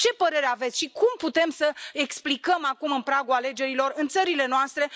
Ce părere aveți și cum putem să explicăm acum, în pragul alegerilor, în țările noastre?